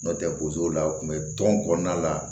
N'o tɛ bozo la u tun bɛ tɔn kɔnɔna la